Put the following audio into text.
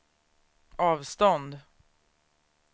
avstånd